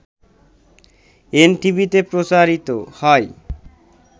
এনটিভিতে প্রচারিত হয়